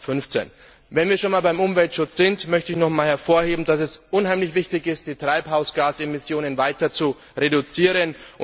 2015. Wenn wir schon beim Umweltschutz sind, möchte ich nochmals hervorheben, dass es unheimlich wichtig ist, die Treibhausgasemissionen weiter zu reduzieren.